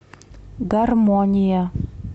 гармония